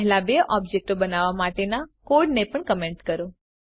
પહેલા બે ઓબ્જેક્ટો બનાવવાં માટેના કોડને પણ કમેંટ કરો